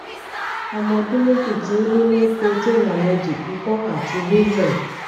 ọmọ ọdún méjì tí ó ní milk protein allergy ìkọ àti wheezing